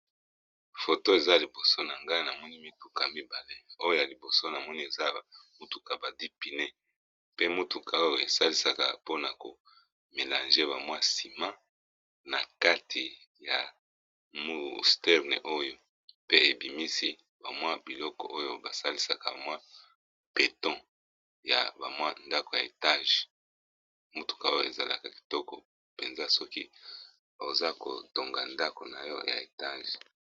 Foto eza liboso na nga na moni mituka mibale oyo ya liboso na moni eza mutuka ba dipneu pe mutuka oyo esalisaka mpona ko melange ba mwa nsima na kati ya musterne oyo pe ebimisi ba mwa biloko oyo basalisaka mwa beton ya ba mwa ndako ya etage mutuka oyo ezalaka kitoko mpenza soki oza kotonga ndako na yo ya etage.